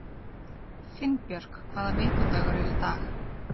Finnbjörk, hvaða vikudagur er í dag?